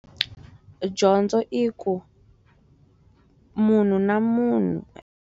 Dyondzo i ku, munhu na munhu.